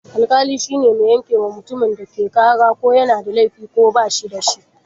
Alƙali shine mai yankewa mutumin da ake ƙara ko yana da laifi ko ba shi da shi.